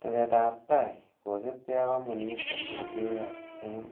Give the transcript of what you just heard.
Teesetab tai, kosiibge ak komponit kotun keyoe en